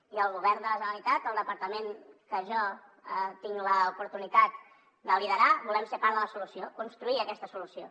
i el govern de la generalitat el departament que jo tinc l’oportunitat de liderar volem ser part de la solució construir aquesta solució